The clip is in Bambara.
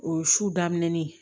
O su daminɛ ni